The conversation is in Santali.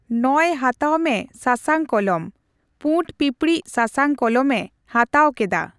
ᱱᱚᱭ ᱦᱟᱛᱟᱣ ᱢᱮ ᱥᱟᱥᱟᱝ ᱠᱚᱞᱚᱢ ᱾ ᱯᱩᱸᱰ ᱯᱤᱯᱬᱤᱡ ᱥᱟᱥᱟᱝ ᱠᱚᱞᱚᱢ ᱮ ᱦᱟᱛᱟᱣ ᱠᱮᱫᱟ ᱾